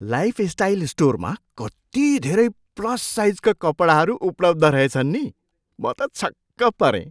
Lifestyle स्टोरमा कति धेरै प्लस साइजका कपडाहरू उपलब्ध रहेछन् नि। म त छक्क परेँ।